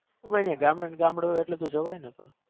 oh my ગામડે ગામડે જવાય ને પણ